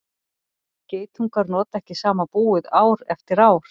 geitungar nota ekki sama búið ár eftir ár